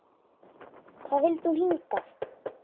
Hvað vildi hún hingað?